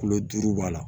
Kulo duuru b'a la